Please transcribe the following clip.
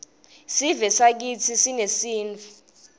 sivesakitsi sinesintfu